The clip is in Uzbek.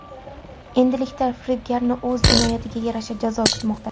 Endilikda firibgarni o‘z jinoyatiga yarasha jazo kutmoqda.